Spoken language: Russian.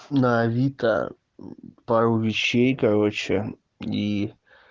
на авито пару вещей короче и